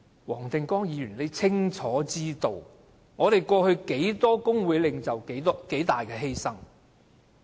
黃定光議員應清楚知道，過去多少工會領袖作出多大犧牲。